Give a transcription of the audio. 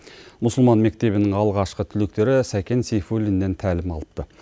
мұсылман мектебінің алғашқы түлектері сәкен сейфулиннен тәлім алыпты